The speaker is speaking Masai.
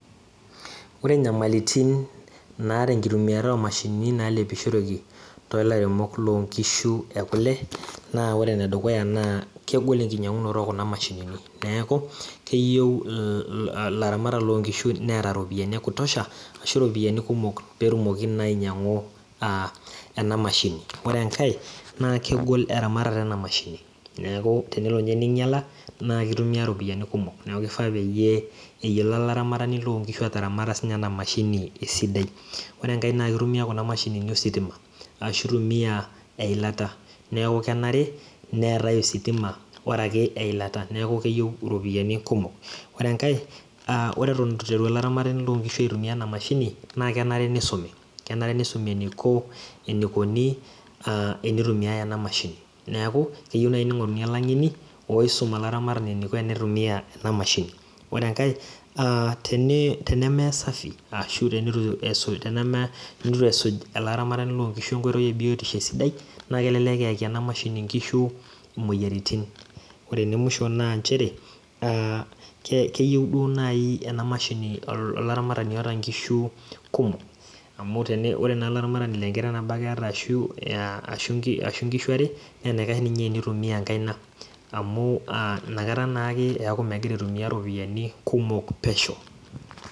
Ore inyamalaritin oomashinini naalepishoreki toolaramatak loonkishu ekuna naa ore embaye edukuya naa kegol enking'orunoto ekuna mashinini neeku kegol ilaramatak loonkishu neeta iropiyiani ekutosha peetumoki naa ainyiang'u ena mashini ore naa kegol eramatata ena mashini neeku tenelo ninye neinyiala naa keitumiya iropiyiani kumok keifaa peyie eyilo olaramatani loonkishu ataramata sii ninye ena mashini esidai ore enkae naa keitumiya kuna mashinini ositima ashuu eilata neeku kenare neetai osituma araki eilata neeku kenare neetai iropiyiani kumok ore enkai ore eton eitu olaramatani loonkishu aitumiya ena mashini naa kenare neisumi enaiko enikoni enitumiyai ena mashini neeku keyieuni neing'oruni oloisim ilaramatak eneiko teneitumiya ena mashini ore enkai tenemesafi ashu teneitu esuj ele aramatani enkoitoi e biotisho esidai naa kelelek eeeki inkishu imoyiaritin ore ene musho naa inchere keyieu duo ena mashini olaramatani oota inkishu kumok amubore naa olaramatani laa enkiteng nabo ake eeta ashuu inkishua are naa enaikash tenitumia enkaina amu inakata naa ake ewku megira aitumiya iropiyiani kumok pesho